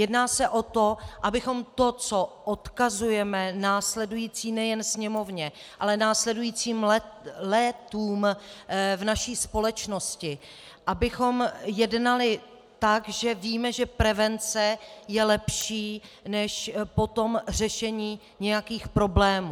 Jedná se o to, abychom to, co odkazujeme následující nejen Sněmovně, ale následujícím létům v naší společnosti, abychom jednali tak, že víme, že prevence je lepší než potom řešení nějakých problémů.